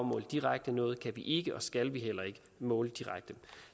måle direkte noget kan vi ikke og skal heller ikke måle direkte